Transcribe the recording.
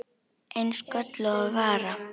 Eins og gölluð vara.